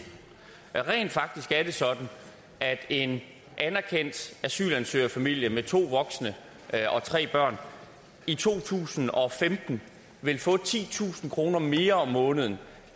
rent faktisk er det sådan at en anerkendt asylansøgerfamilie på to voksne og tre børn i to tusind og femten vil få titusind kroner mere om måneden